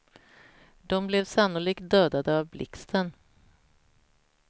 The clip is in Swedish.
De blev sannolikt dödade av blixten.